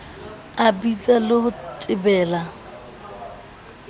a bitsang le ho tebela